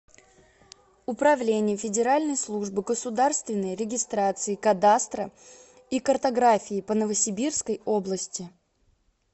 управление федеральной службы государственной регистрации кадастра и картографии по новосибирской области